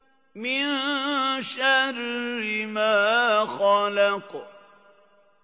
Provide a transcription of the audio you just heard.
مِن شَرِّ مَا خَلَقَ